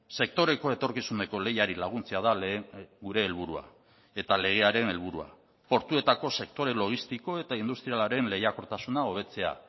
sektoreko etorkizuneko lehiari laguntzea da gure helburua eta legearen helburua portuetako sektore logistiko eta industrialaren lehiakortasuna hobetzea